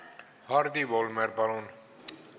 Hardi Volmer, palun!